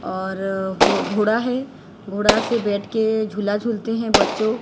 और वो घोड़ा है घोड़ा से बैठ के झूला झूलते हैं बच्चों--